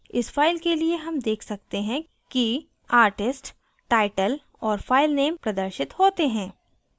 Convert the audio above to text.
इस file के लिए हम देख सकते हैं कि artist title और file name प्रदर्शित होते हैं